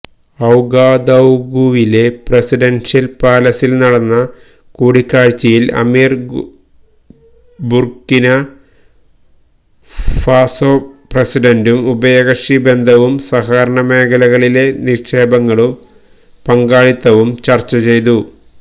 ഔഗാദൌഗുവിലെ presidential പാലസില് നടന്ന കൂടിക്കാഴ്ചയില് അമീറും ബുര്ക്കിന ഫാസോ പ്രസിഡന്റും ഉഭയകക്ഷി ബന്ധവും സഹകരണമേഖലകളിലെ നിക്ഷേപങ്ങളും പങ്കാളിത്തവും ചര്ച്ചചെയ്തു